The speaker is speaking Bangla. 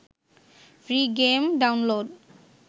free game download